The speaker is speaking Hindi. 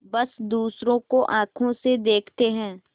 बस दूसरों को आँखों से देखते हैं